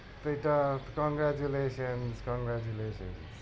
ব্যাটা congratulation congratulation ।